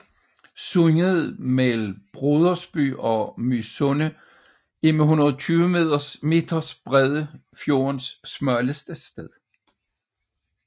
Sundet mellem Brodersby og Mysunde er med 120 meters bredde fjordens smalleste sted